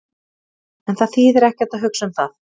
En það þýðir ekkert að hugsa um það.